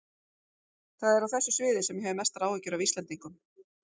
Það er á þessu sviði sem ég hef mestar áhyggjur af Íslendingum.